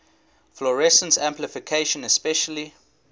fluorescence amplification especially